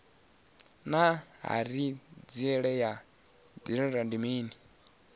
naa hanziela ya didzhithala ndi mini